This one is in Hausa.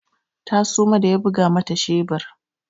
Ta suma da ya buga mata shebur.